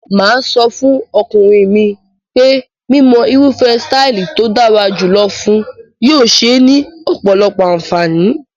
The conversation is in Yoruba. Mà á sọ fún ọkùnrin mi pé mímọ irúfẹ́ sítáálì tó dára jù lọ fun yóò ṣé ní ọ̀pọ̀lọpọ̀ àǹfààní.